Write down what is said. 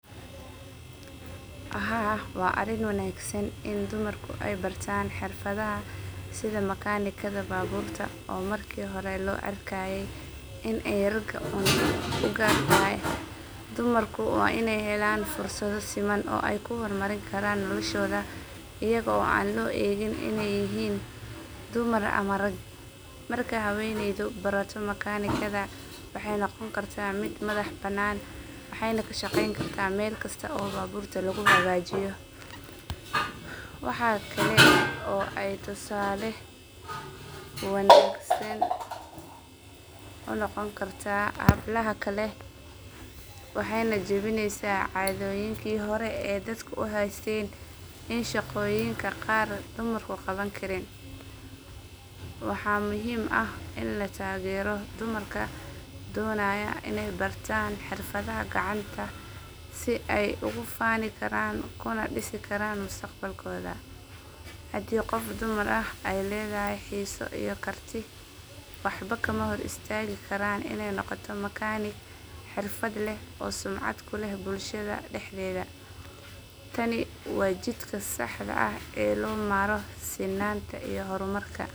Haa wa arin wanagsan in dumarka ay bartan xeerfadaha setha mechanica baburrta, oo marka hori lo arkaye Ina ay ra u Gaar tahay dumarku way inay helan fursada seman oo ay ku hormarinakaran noloshoda eyado oo lo egin inay yahin, dumar amah raga marka haweyneytho baratoh makeenaikatha waxa noqon kartah mid madax banan waxayna kashqeeyni kartah meelkasta oo babuurta oo lagu hagajiyoh, waxakali oo aa tusaali wanagsan unoqoni kartah hablaha waxayna jibineysah cadooyinka hori dadka u haysteen in shaqoyinka ka qaar dumarku qawanikarin waxa muhim ah Ina latageeroh dumarka, dunayoh Ina bartan xeerfadaha kacanta si ay ugu fani Karan kana disi Karan mustaqbakotha, handi qoof dumar ayleedahay xesa iyo karti waxba kahortagikaran Ina noqotoh makaniga xerfad leeh oo sunacat kuleh bulshada dexdetha, Kani wa jidka saxda aah oo lomaroh dabka hurmarka.